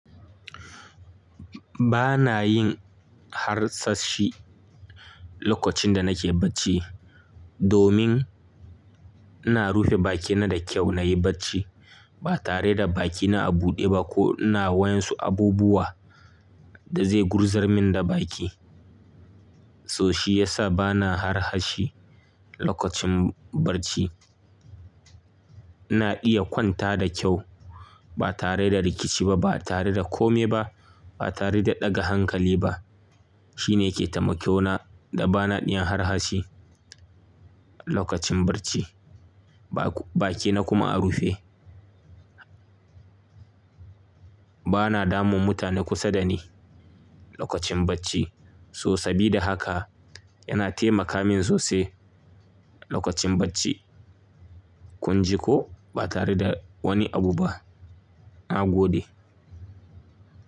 Ba na yin harsashi lokacin da nake bacci, domin ina rufe bakina da kyau na yi bacci ba tare da bakina a buɗe ba ko ina wayonsu abubuwa da zai gurzar min da baki. So shi yasa ba na harsashi lokacin bacci. Ina iya kwanta da kyau ba tare da rikici ba, ba tare da kome ba, ba tare da ɗaga hankali ba. Shi ne yake taimakewana da ba na iya harsashi lokacin bacci, ba bakina kuma a rufe. Ba na damun mutane kusa da ni lokacin bacci. So sabida haka yana taimaka min sosai lokacin bacci. Kun ji ko? Ba tare da wani abu ba. Na gode.